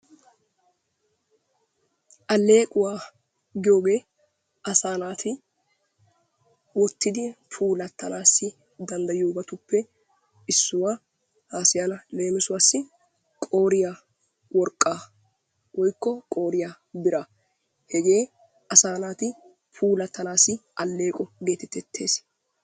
Alleequwa giyogee asaa naati wottidi puulattanawu danddayiyobatuppe issuwaa haasayana leemisuwassi qooriya worqqaa woykko qooriya biraa hegee asaa naati puulattanaassi alleeqo geeteetteesi.